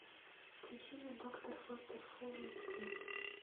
включи мне доктор фостер фул эйч ди